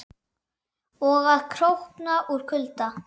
Og að krókna úr kulda.